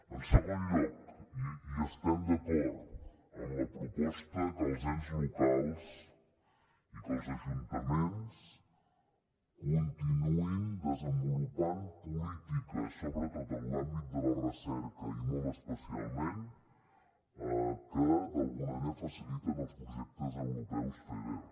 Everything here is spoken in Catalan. en segon lloc estem d’acord amb la proposta que els ens locals i que els ajuntaments continuïn desenvolupant polítiques sobretot en l’àmbit de la recerca i molt especialment que d’alguna manera faciliten els projectes europeus feder